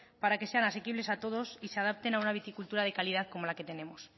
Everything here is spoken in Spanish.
para que sean asequibles y se adapten a una viticultura de calidad como la que tenemos